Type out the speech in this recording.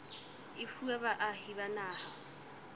e fuwa baahi ba naha